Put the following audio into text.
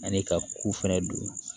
Ani ka ko fɛnɛ don